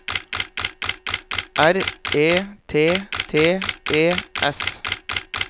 R E T T E S